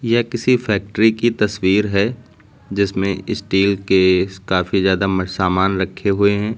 यह किसी फैक्ट्री की तस्वीर है जिसमें स्टील के काफी ज्यादा सामान रखे हुए हैं।